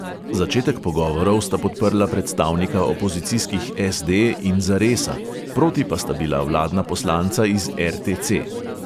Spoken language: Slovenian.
Začetek pogovorov sta podprla predstavnika opozicijskih SD in zaresa, proti pa sta bila vladna poslanca iz RTC.